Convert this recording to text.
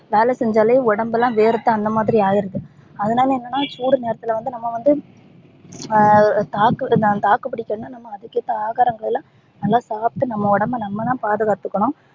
வேலை செஞ்சாலே உடம்புளா வேர்த்து அந்த மாதிரி ஆயிருது அதுனால என்னனா சூடு நேரத்துல வந்து நம்ப வந்து ஹம் தாக்கு வந்து தாக்கு புடிக்கணும்னா நம்ப அதுக்கு ஏத்த ஆகாரங்கல்லா நல்லா சாப்ட்டு நம்ப உடம்ப நம்பதா பாதுகாத்துகனும்